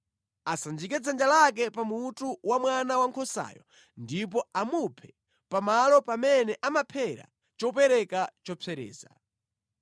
Asanjike dzanja lake pa mutu wa mwana wankhosayo ndipo amuphe pamalo pamene amaphera chopereka chopsereza.